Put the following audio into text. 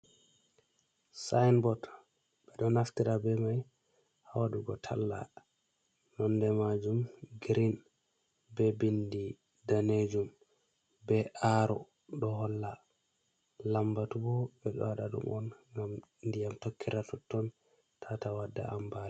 Sainbot ɓeɗo naftira be mai ha wdugo talla, nonde majum green be bindi danejum, be aro ɗo holla lambatu ɓo ɓe ɗo waɗa ɗum on ngam diyam tokkira totton tata wadda ambaliya.